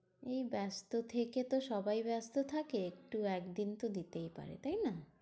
ব্যস্ত থেকে তো সবাই ব্যস্ত থাকে একটু একদিন তো দিতেই পারে, তাইনা?